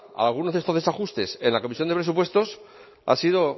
a algunos de estos desajustes en la comisión de presupuestos ha sido